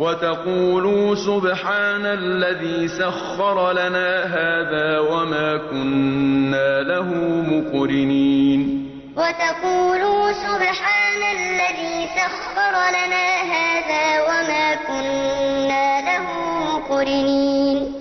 وَتَقُولُوا سُبْحَانَ الَّذِي سَخَّرَ لَنَا هَٰذَا وَمَا كُنَّا لَهُ مُقْرِنِينَ لِتَسْتَوُوا عَلَىٰ ظُهُورِهِ ثُمَّ تَذْكُرُوا نِعْمَةَ رَبِّكُمْ إِذَا اسْتَوَيْتُمْ عَلَيْهِ وَتَقُولُوا سُبْحَانَ الَّذِي سَخَّرَ لَنَا هَٰذَا وَمَا كُنَّا لَهُ مُقْرِنِينَ